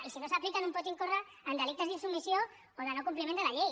i si no s’apliquen un pot incórrer en delictes d’insubmissió o de no compliment de la llei